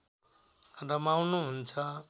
रमाउनु हुन्छ